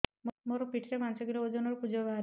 ମୋ ପିଠି ରେ ପାଞ୍ଚ କିଲୋ ଓଜନ ର କୁଜ ବାହାରିଛି